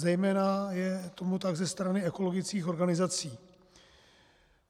Zejména je tomu tak ze strany ekologických organizací.